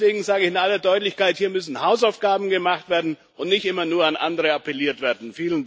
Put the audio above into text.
Und deswegen sage ich in aller Deutlichkeit Hier müssen Hausaufgaben gemacht werden und nicht immer nur an andere appelliert werden.